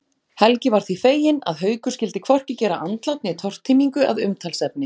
Helgi var því feginn að Haukur skyldi hvorki gera andlát né tortímingu að umtalsefni.